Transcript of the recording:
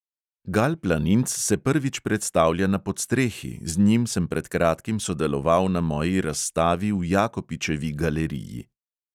Gal planinc se prvič predstavlja na podstrehi, z njim sem pred kratkim sodeloval na moji razstavi v jakopičevi galeriji.